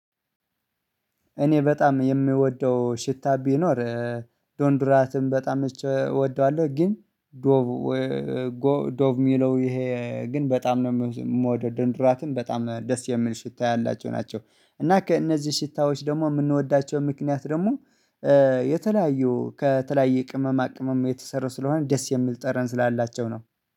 እኔ በጣም የምወደው ሽታ ቢኖር ዶንድራትም በጣም እወደዋለሁ። ግን ዶቭ ዶቭ ሚለው ይሄ ግን በጣም ነው የምወደው ዶድራንት በጣም ነው ደስ የሚል ሽታ ያላቸው ናቸው። እና ከእነዚህ ሽታዎች ደግሞ የምንወዳቸው ምክንያት ደግሞ የተለያዩ ከተለያየ ቅመማ ቅመማ የተሰሩ ስለሆነ ደስ የሚል ጠረን ስላላቸው ነው